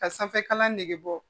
Ka sanfɛkalan nege bɔ